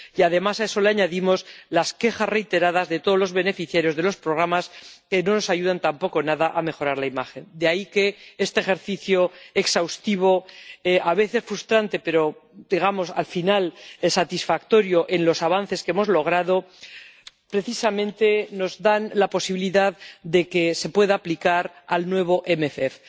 Y, además, a eso le añadimos las quejas reiteradas de todos los beneficiarios de los programas, que no nos ayudan tampoco nada a mejorar la imagen. De ahí que este ejercicio exhaustivo, a veces frustrante, pero al final satisfactorio en los avances que hemos logrado, precisamente nos da la posibilidad de poder aplicarlo al nuevo MFP.